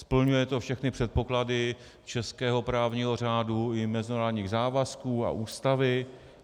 Splňuje to všechny předpoklady českého právního řádu i mezinárodních závazků a Ústavy.